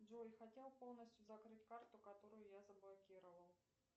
джой хотела полностью закрыть карту которую я заблокировал